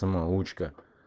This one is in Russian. самоучка